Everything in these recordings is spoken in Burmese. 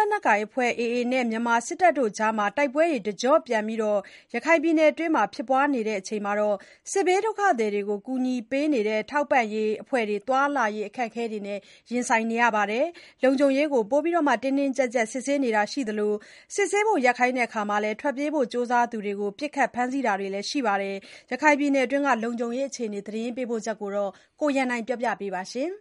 လက်နက်ကိုင်အဖွဲ့ AA နဲ့ မြန်မာစစ်တပ်ကြား တိုက်ပွဲတွေ တကျော့ပြန်ဖြစ် ပွားနေချိန် ရခိုင်ပြည်နယ်အတွင်း စစ်ဘေးဒုက္ခသည်တွေကို ကူညီပေးနေတဲ့ ထောက်ပံ့ရေးအဖွဲ့တွေ သွားလာရေး အခက်အခဲတွေ နဲ့ ရင်ဆိုင်နေရပါတယ်။ လုံခြုံရေးပိုမို တင်းတင်းကြပ်ကြပ် စစ်ဆေးတာတွေရှိသလို ထွက်ပြေးဖို့ ကြိုးစားတဲ့သူတွေကို ပစ်ခတ်ဖမ်းဆီးတာတွေလည်း ရှိနေပါတယ်။ ရခိုင်ပြည်နယ်အခြေအနေ သတင်းပေးပို့ချက်ကို ကိုရန်နိုင်က တင်ပြပေးထားပါတယ်။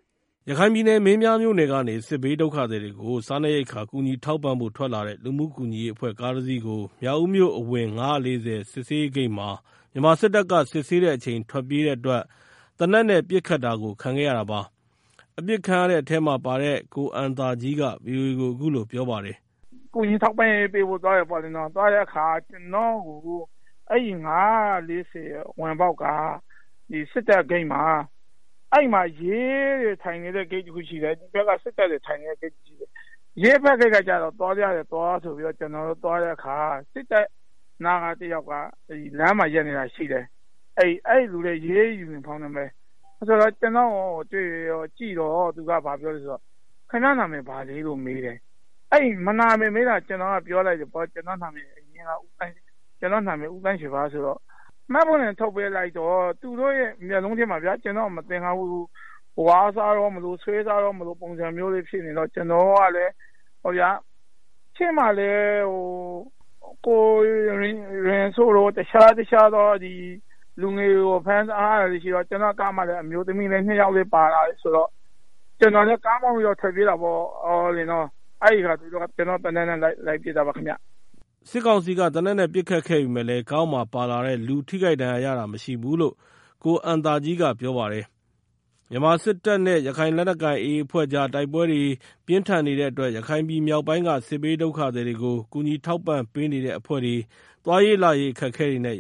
ရခိုင်ပြည်နယ် မင်းပြားမြို့နယ်ကနေ စစ်ဘေးဒုက္ခသည်တွေကိုစားနပ်ရိက္ခာ ကူညီ ထောက်ပံ့ဖို့ ထွက်လာတဲ့ လူမှူကူညီရေးအဖွဲ့ကားတစီးကို မြောက်ဦး မြို့အဝင် ၅၄၀ စစ်ဆေးဂိတ်မှာ မြန်မာစစ်တပ်က စစ်ဆေးတဲ့အချိန် ထွက်ပြေးတဲ့အတွက် သေနတ်နဲ့ပစ်ခတ်တာကို ခံခဲ့ရတာပါ။ အပစ်ခံရတဲ့အထဲမှာပါတဲ့ ကိုအမ်သားကြီးက VOA ကို အခုလို ပြောပါတယ်။ “ ကျနော်တို့က ကူညီထောက်ပံ့ရေးပေးဖို့ သွားတယ်ပေါ့ဗျာ၊ သွားတဲ့အခါ အဲဒီ ၅၄၀ ဝင်ပေါက်က စစ်တပ်စစ်ဆေးရေးဂိတ်မှာ ရဲနဲ့စစ်သား ဂိတ်နှစ်ခုရှိတယ်။ ရဲဘက်က ဂိတ်ကသွားလို့ရတယ်၊ သွား...ဆိုတော့ သွားတဲ့အခါ စစ်တပ်ဘက်ဂိတ်နားက ရဲယူနီဖောင်းနဲ့တယောက်က ခင်များနာမည်ဘာလဲမေးတော့ ကျနော်လည်း ကျနော့်နာမည် ဦးသန်းရွှေပါပြောပြီးတော့ မှတ်ပုံတင်တောင်းလို့ ထုတ်ပြလိုက်တော့ သူတို့ရဲ့ မျက်လုံးထဲမှာ ကျနော့်ကိုမသင်္ကာတဲ့ မျက်လုံးနဲ့ကြည့်ပြီး ဝါးစားတော့မလို ဆွဲစားတော့မလို ပုံစံဖြစ်နေတော့ ရှေ့မှာလည်း တခြားလူတွေကို ဖမ်းထားတာရှိတော့ ကျနော်လည်း ကားမောင်းပြီးတော့ ထွက်ပြေးတာပေါ့။ အဲဒီမှာ သေနတ်နဲ့ လိုက်ပစ်တာပါခင်ဗျာ။” စစ်ကောင်စီနဲ့ သေနတ်နဲ့ ပစ်ခတ်ခဲ့ပေမယ့်လည်းကားပေါ်မှာ ပါလာတဲ့ လူထိခိုက် ဒဏ်ရာရ တာမရှိဘူးလို့ ကိုအမ်သားကြီးက ပြောပါတယ်။ မြန်မာစစ်တပ်နဲ့ ရခိုင်လက်နက်ကိုင် AA အဖွဲ့ကြား တိုက်ပွဲပြင်းထန်နေတဲ့အတွက် ရခိုင်မြောက်ပိုင်းက စစ်ဘေးဒုက္ခသည်တွေကို ကူညီထောက်ပံ့ပေးနေတဲ့ အဖွဲ့တွေ သွားရေးလာရေး ခက်ခဲနေ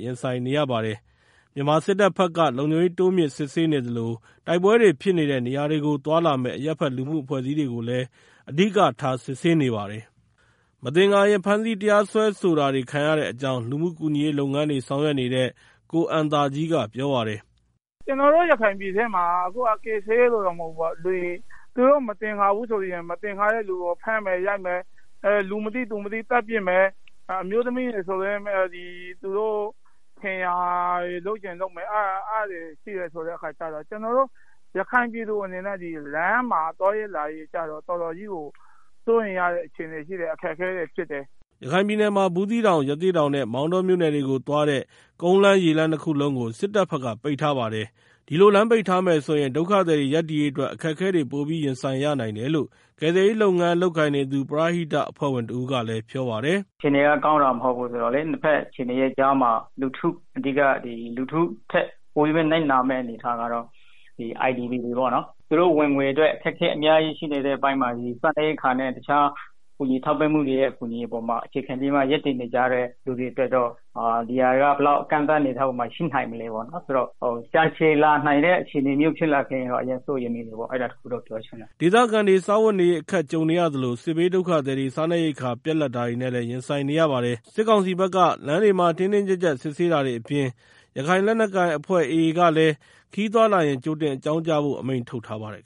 ရပါတယ်။ မြန်မာစစ်တပ်ဘက်က လုံခြုံရေး တိုးမြှင့်စစ်ဆေးနေသလို တိုက်ပွဲတွေ ဖြစ်နေတဲ့ နေရာတွေကို သွားလာမယ့် အရပ်ဘက် လူမှုအဖွဲ့အစည်းတွေကို အဓိကထား စစ်ဆေးနေပါတယ်။ မသင်္ကာရင် ဖမ်းဆီးတရားစွဲဆိုတာတွေ ခံရတဲ့အကြောင်း လူမှုကူညီရေးလုပ်ငန်းတွေ ဆောင်ရွက်နေတဲ့ ကိုအမ်း သားကြီးက ပြောပါတယ်။ “ ကျနော်တို့ ရခိုင်ပြည်နယ်ထဲမှာ ကယ်ဆယ်ရေးသမားတွေကိုလို့ မဟုတ်ဘူး။ သူတို့ မသင်္ကာဘူးဆိုရင် ဖမ်းမယ်၊ ရိုက်မယ် လူမသိသူမသိ သတ်ပစ်မယ်၊ အမျိုးသမီးတွေကိုဆိုရင်လည်း သူတို့ထင်ရာ လုပ်ချင်လုပ်မယ်။ အဲဒါမျိုးတွေရှိနေတော့ ကျနော်တို့ ရခိုင်ပြည်သူတွေအနေနဲ့ လမ်းမှာ သွားရေးလာရေး တော်တော်စိုးရိမ်ရတဲ့ အခြေအနေရှိတယ်၊ အခက်အခဲတွေ ဖြစ်တယ်။” ရခိုင်ပြည်နယ်မှာ ဘူးသီးတောင် ရသေ့တောင်နဲ့ မောင်တောမြို့နယ်တွေကို သွားတဲ့ ကုန်းလမ်းရေလမ်းနှစ်ခုလုံးကို စစ်တပ်ဘက်က ပိတ်ထားပါတယ်။ ဒီလို လမ်းပိတ်ထားမယ်ဆိုရင် ဒုက္ခသည်တွေ ရပ်တည်ရေးအတွက် အခက်အခဲတွေ ပိုပြီး ရင်ဆိုင်ရနိုင်တယ်လို့ ကယ်ဆယ်ရေးလုပ်ငန်း လုပ်ကိုင်နေသူ People for People အဖွဲ့ရဲ့အမှုဆောင်ဒါရိုက်တာ ကိုစိုးလင်းကပြောပါတယ်။ “ အခြေအနေက ကောင်းတာမဟုတ်ဘူးဆိုတော့ နှစ်က်အခြေအနေကြားမှာ လူထုထက် ပိုနစ်နာမယ့်သူတွေကတော့ IDPတွေပေါ့နော်။ သူတို့ဝင်ငွေအတွက် အခက်အခဲ အများကြီးရှိနေတဲ့အချိန်မှာ စားနပ်ရိက္ခာနဲ့တခြား တခြားကူညီမှုတွေပေါ်မှာ အခြေခံပြီးတော့ ရပ်တည်နေကြရတဲ့ သူတွေအတွက်တော့ ဒီကန့်သတ်မှုတွေက ဘယ်အနေအထားရှိနိုင်မလဲဆိုတော့ ကြာရှည်လာနိုင်တဲ့ အနေအထားရှိရင်တော့ အရမ်းစိုးရိမ်မိတယ်ပေါ့။ အဲဒါတခုတော့ပြောချင်တယ်။” ဒေသခံတွေ စားဝတ်နေ ရေး အခက်ကြုံနေရသလို စစ်ဘေးဒုက္ခသည်တွေ စားနပ် ရိက္ခာပြတ်လပ်တာတွေနဲ့ ရင်ဆိုင်နေရပါတယ်။ စစ်ကောင်စီဘက်က လမ်းတွေမှာ တင်းတင်းကြပ်ကြပ်စစ်ဆေးတာတွေအပြင် ရခိုင်လက်နက်ကိုင်အဖွဲ့ AA ကလည်း ခရီးသွားလာရင် ကြိုတင်အကြောင်းကြားဖို့ အမိန့်ထုတ်ထားပါတယ်